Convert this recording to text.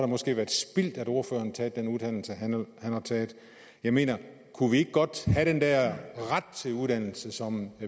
måske været spildt at ordføreren har taget den uddannelse han har taget jeg mener kunne vi ikke godt have den der ret til uddannelse som